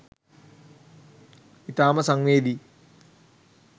ඉතාම සංවේදී